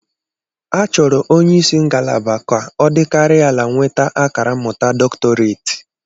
Achọrọ onye isi ngalaba ka ọ dịkarịa ala nweta akara mmụta doctorate.